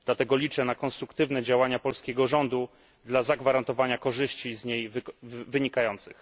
Liczę na konstruktywne działania polskiego rządu dla zagwarantowania korzyści z niej wynikających.